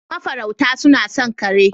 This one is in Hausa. Mafarauta suna son kare.